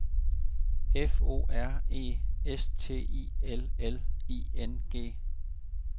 F O R E S T I L L I N G